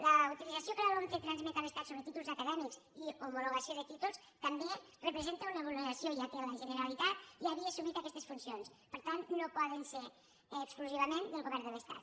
la utilització que la lomce transmet a l’estat sobre títols acadèmics i homologació de títols també representa una vulneració ja que la generalitat ja havia assumit aquestes funcions per tant no poden ser exclusivament del govern de l’estat